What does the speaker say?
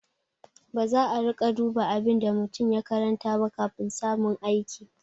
Baza a riƙa duba abin da mutum ya karanta ba kafin samun aiki.